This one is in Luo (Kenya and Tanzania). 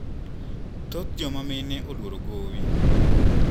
Thoth jomamine oluoro gowi.